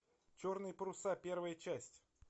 черные паруса первая часть